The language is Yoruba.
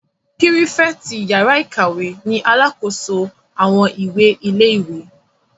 Pírífẹ̀tì yàrá-ìkàwé ni alàkóso àwọn ìwé ilé-ìwé